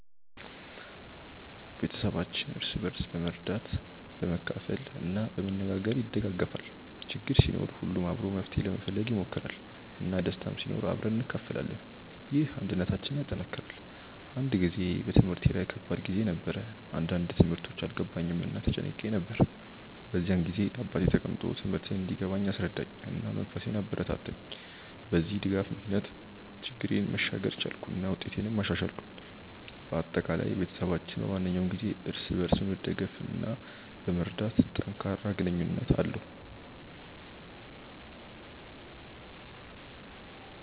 ቤተሰባችን እርስ በርስ በመርዳት፣ በመካፈል እና በመነጋገር ይደጋገፋል። ችግር ሲኖር ሁሉም አብሮ መፍትሄ ለመፈለግ ይሞክራል፣ እና ደስታም ሲኖር አብረን እንካፈላለን። ይህ አንድነታችንን ያጠናክራል። አንድ ጊዜ በትምህርቴ ላይ ከባድ ጊዜ ነበር፣ አንዳንድ ትምህርቶች አልገባኝም እና ተጨንቄ ነበር። በዚያ ጊዜ አባቴ ተቀምጦ ትምህርቴን እንዲገባኝ አስረዳኝ፣ እና መንፈሴን አበረታታኝ። በዚህ ድጋፍ ምክንያት ችግሬን መሻገር ቻልኩ እና ውጤቴንም አሻሻልኩ። በአጠቃላይ፣ ቤተሰባችን በማንኛውም ጊዜ እርስ በርስ በመደገፍ እና በመርዳት ጠንካራ ግንኙነት አለው።